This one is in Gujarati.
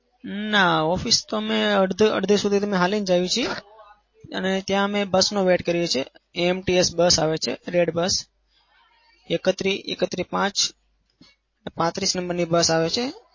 ના office તો અમે અડાધે-અડધે સુધી તો અમે હાલીને જઈએ છીએ. અને ત્યાં અમે bus નો wait કરીએ છીએ. AMTS bus આવે છે red bus એકત્રી એકત્રીસ પાચ પાંત્રીસ number ની bus આવે છે.